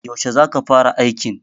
yaushe za ka fara aikin